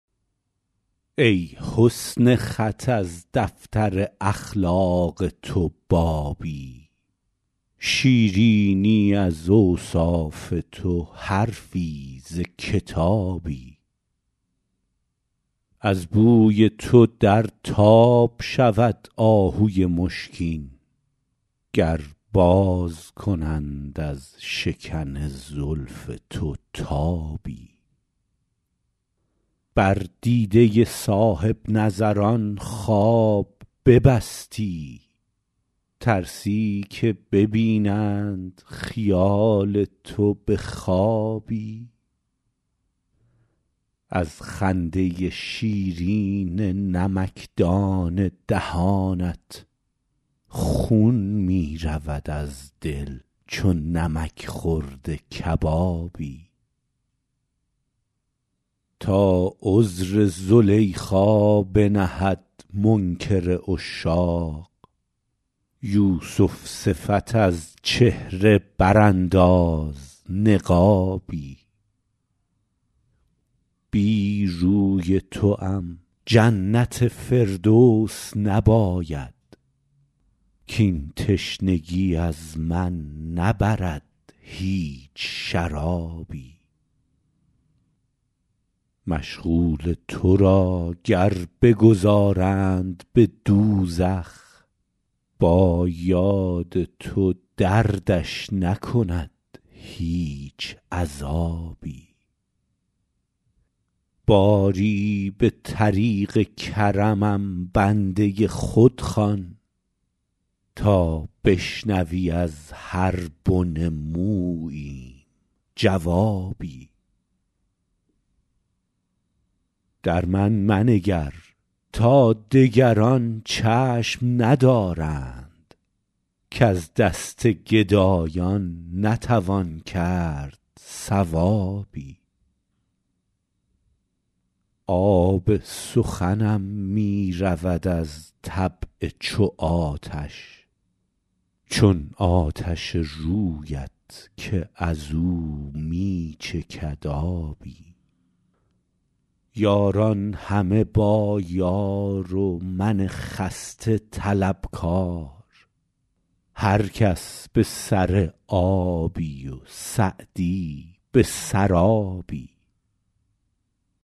ای حسن خط از دفتر اخلاق تو بابی شیرینی از اوصاف تو حرفی ز کتابی از بوی تو در تاب شود آهوی مشکین گر باز کنند از شکن زلف تو تابی بر دیده صاحب نظران خواب ببستی ترسی که ببینند خیال تو به خوابی از خنده شیرین نمکدان دهانت خون می رود از دل چو نمک خورده کبابی تا عذر زلیخا بنهد منکر عشاق یوسف صفت از چهره برانداز نقابی بی روی توام جنت فردوس نباید کاین تشنگی از من نبرد هیچ شرابی مشغول تو را گر بگذارند به دوزخ با یاد تو دردش نکند هیچ عذابی باری به طریق کرمم بنده خود خوان تا بشنوی از هر بن موییم جوابی در من منگر تا دگران چشم ندارند کز دست گدایان نتوان کرد ثوابی آب سخنم می رود از طبع چو آتش چون آتش رویت که از او می چکد آبی یاران همه با یار و من خسته طلبکار هر کس به سر آبی و سعدی به سرابی